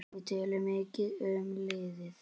Við töluðum mikið um liðið.